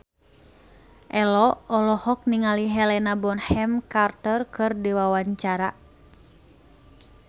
Ello olohok ningali Helena Bonham Carter keur diwawancara